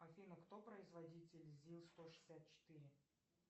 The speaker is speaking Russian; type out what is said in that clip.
афина кто производитель зил сто шестьдесят четыре